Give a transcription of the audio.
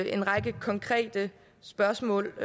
en række konkrete spørgsmål